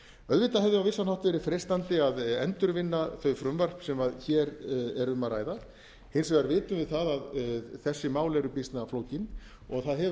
auðvitað hefði á vissan hátt verið freistandi að endurvinna þau frumvörp sem hér er um að ræða hins vegar vitum við það að þessi mál eru býsna flókin og það hefur mjög margt breyst